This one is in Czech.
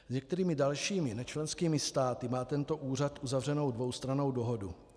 S některými dalšími nečlenskými státy má tento úřad uzavřenu dvoustrannou dohodu.